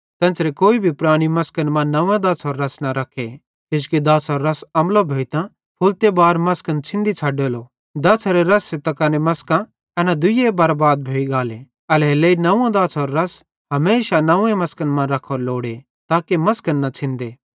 तेन्च़रे कोई भी पुरैनी मसकन मां नंव्वे दाछ़ारो रस न रखे किजोकि दाछ़ारो रस अम्लो भोइतां फुलते बार मसकन छ़िन्दी छ़ड्डेलो दाछ़ारे रस त कने मसकां एना दुइये बरबाद भोइ गाले एल्हेरेलेइ नंव्वे दाछ़ारे रस हमेशा नंव्वे मसकन मां रख्खोरो लोड़े ताके मसकन न छ़िन्दे